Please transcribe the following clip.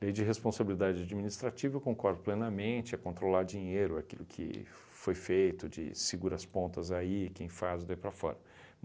Lei de responsabilidade administrativa, eu concordo plenamente, é controlar dinheiro, aquilo que foi feito, de segura as pontas aí, quem faz daí para fora.